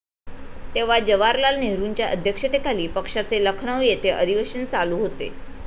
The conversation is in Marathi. तेव्हा जवाहरलाल नेहरूंच्या अध्यक्षतेखाली पक्षाचे लखनौ येथे अधिवेशन चालू होते.